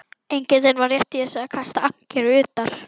Engillinn var rétt í þessu að kasta ankeri utar.